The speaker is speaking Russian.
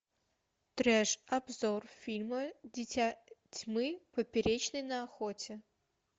треш обзор фильма дитя тьмы поперечный на охоте